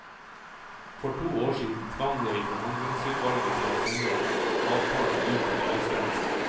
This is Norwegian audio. For to år siden tvang jeg forhandlingsutvalget til å sende en avtale ut til avstemning.